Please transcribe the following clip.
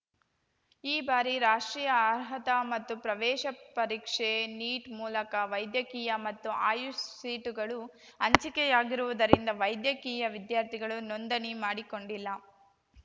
ಈ ಬಾರಿ ರಾಷ್ಟ್ರೀಯ ಅರ್ಹತಾ ಮತ್ತು ಪ್ರವೇಶ ಪರೀಕ್ಷೆ ನೀಟ್‌ ಮೂಲಕ ವೈದ್ಯಕೀಯ ಮತ್ತು ಆಯುಷ್‌ ಸೀಟುಗಳು ಹಂಚಿಕೆಯಾಗಿರುವುದರಿಂದ ವೈದ್ಯಕೀಯ ವಿದ್ಯಾರ್ಥಿಗಳು ನೋಂದಣಿ ಮಾಡಿಕೊಂಡಿಲ್ಲ